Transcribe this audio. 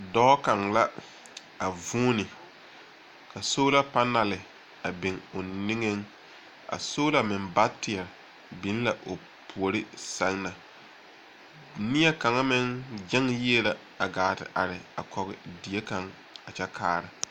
Dɔɔ kaŋ la, a vuuni, ka sola panale a biŋ o niŋeŋ, a sola meŋ bateɛ biŋ la o puori sɛŋ na. Neɛ kaŋa meŋ gyɛŋe yie la a gaa te are kɔge die kaŋa a kyɛ kaara.